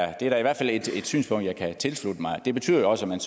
er da i hvert fald et synspunkt jeg kan tilslutte mig og det betyder jo også at man